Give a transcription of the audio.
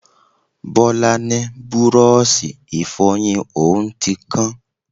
Bọlá ni búrọ́ọ̀ṣì Ìfọ̀yín òun ti kán